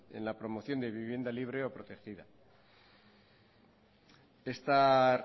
en la promoción de vivienda libre o protegida esta